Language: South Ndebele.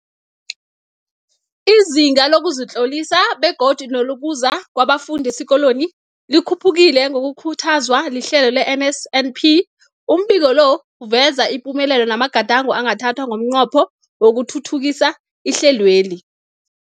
Izinga lokuzitlolisa begodu nelokuza kwabafundi esikolweni likhuphukile ngokukhuthazwa lihlelo le-NSNP. Umbiko lo uveza ipumelelo namagadango angathathwa ngomnqopho wokuthuthukisa ihlelweli.